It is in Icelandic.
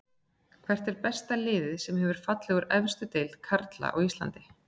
Hvert er besta liðið sem hefur fallið úr efstu deild karla á Íslandi?